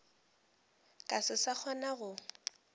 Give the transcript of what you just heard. ka se sa kgona go